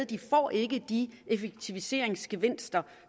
de får ikke de effektiviseringsgevinster